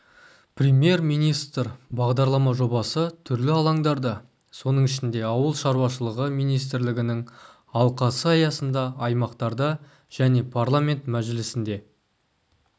премьер-министр бағдарлама жобасы түрлі алаңдарда соның ішінде ауыл шаруашылығы министрлігінің алқасы аясында аймақтарда және парламент мәжілісінде